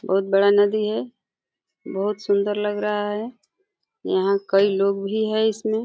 बहुत बड़ा नदी है। बहुत सुंदर लग रहा है। यहाँ कई लोग भी है इसमें।